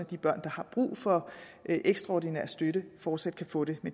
de børn der har brug for ekstraordinær støtte fortsat kan få det